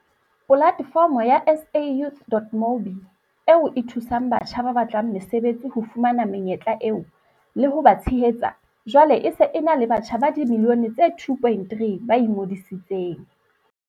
Polatefomo ya SAYouth.mobi, eo e thusang batjha ba batlang mesebetsi ho fumana menyetla eo, le ho ba tshehetsa, jwale e se e na le batjha ba dimilione tse 2.3 ba ingodisitseng.